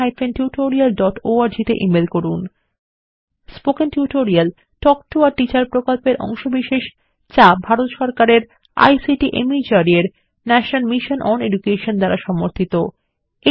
spoken tutorial talk to a teacher প্রকল্পের অংশবিশেষ যা ভারত সরকারের আইসিটি মাহর্দ এর ন্যাশনাল মিশন ওন এডুকেশন দ্বারা সমর্থিত